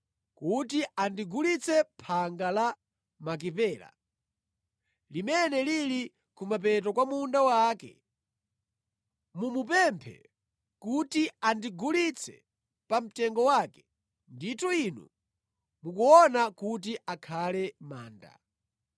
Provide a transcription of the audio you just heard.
kuti andigulitse phanga la Makipela, limene lili kumapeto kwa munda wake. Mumupemphe kuti andigulitse pamtengo wake ndithu inu mukuona kuti akhale manda.”